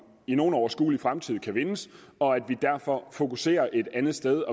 i nogen overskuelig fremtid kan vindes og at vi derfor fokuserer et andet sted